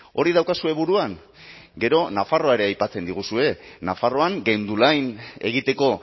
hori daukazue buruan gero nafarroa ere aipatzen diguzue nafarroan gendulain egiteko